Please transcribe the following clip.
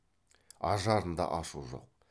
ажарында ашу жоқ